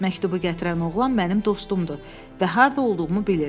Məktubu gətirən oğlan mənim dostumdur və harda olduğumu bilir.